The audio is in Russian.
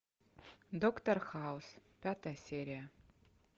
доктор хаус пятая серия